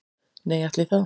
Nei, ætli það